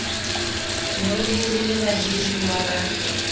ne o hirile bahiruwa ba